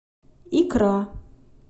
икра